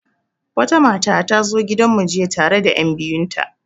Wata mata ta zo gidan mu jiya tare da enbiyu nata.